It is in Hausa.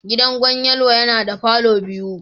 Gidan Gwan Yelwa yana da palour biyu